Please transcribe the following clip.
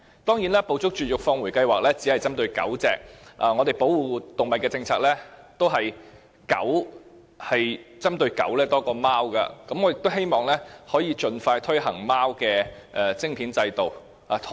當然，"捕捉、絕育、放回"計劃只是針對狗隻，而我們保護動物的政策都是針對狗多於貓，所以我希望可以盡快推行貓的晶片制度。